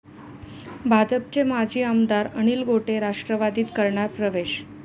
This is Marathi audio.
भाजपचे माजी आमदार अनिल गोटे राष्ट्रवादीत करणार प्रवेश